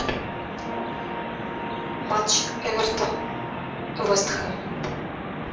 матч эвертон вест хэм